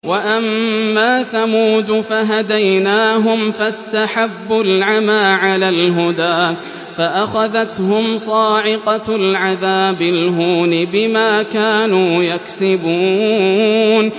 وَأَمَّا ثَمُودُ فَهَدَيْنَاهُمْ فَاسْتَحَبُّوا الْعَمَىٰ عَلَى الْهُدَىٰ فَأَخَذَتْهُمْ صَاعِقَةُ الْعَذَابِ الْهُونِ بِمَا كَانُوا يَكْسِبُونَ